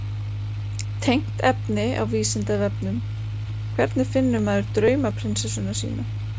Tengt efni á Vísindavefnum: Hvernig finnur maður draumaprinsessuna sína?